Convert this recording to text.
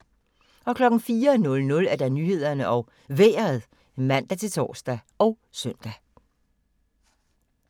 04:00: Nyhederne og Vejret (man-tor og søn)